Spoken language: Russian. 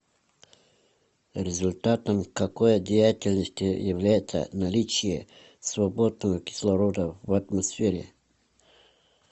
результатом какой деятельности является наличие свободного кислорода в атмосфере